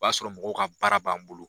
O b'a sɔrɔ mɔgɔw ka baara b'an bolo.